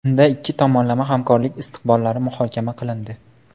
Unda ikki tomonlama hamkorlik istiqbollari muhokama qilindi.